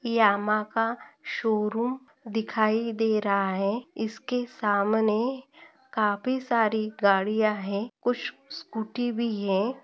Yamaha का showroom दिखाई दे रहा है इसके सामने काफी सारी गाड़िया है कुछ स्कूटी भी है।